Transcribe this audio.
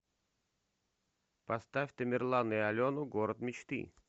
поставь тамерлана и алену город мечты